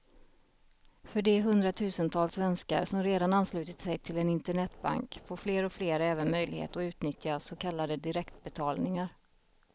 För de hundratusentals svenskar som redan anslutit sig till en internetbank får fler och fler även möjlighet att utnyttja så kallade direktbetalningar.